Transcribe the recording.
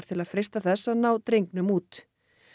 til að freista þess að ná drengnum út